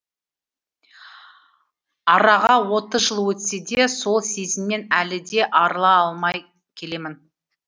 араға отыз жыл өтсе де сол сезімнен әлі де арыла алмай келемін